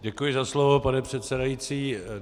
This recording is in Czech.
Děkuji za slovo, pane předsedající.